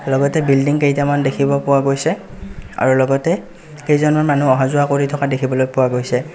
লগতে বিল্ডিং কেইটামান দেখিব পোৱা গৈছে আৰু লগতে কেইজনমান মানুহ অহা যোৱা কৰি থকা দেখিবলৈ পোৱা গৈছে.